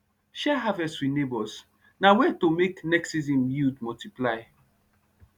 share harvest with neighbours na way to make next season yield multiply